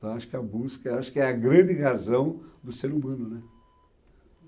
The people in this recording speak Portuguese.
Então, acho que a busca, acho que é a grande razão do ser humano, né.